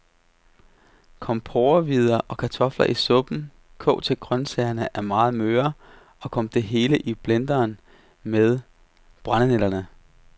Kom porrehvider og kartofler i suppen, kog til grøntsagerne er meget møre, og kom det hele i blenderen med brændenælderne.